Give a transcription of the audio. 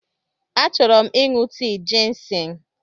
Achọrọ m ịṅụ tii jịnsịng.